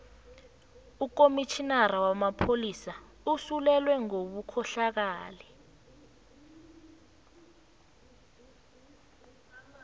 ukomitjhinara wamapholisa usolelwe ngobukhohlakali